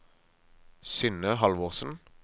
Synne Halvorsen